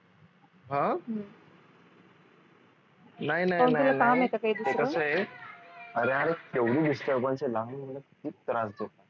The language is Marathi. अं अरे यार केवढी disturbance आहे लहान मूल खूप त्रास देतात